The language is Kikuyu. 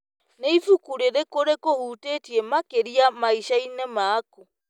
Nĩ ibuku rĩrĩkũ rĩkũhutĩtie makĩria maicani maku?